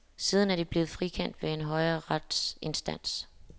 Siden er de blevet frikendt ved en højere retsinstans.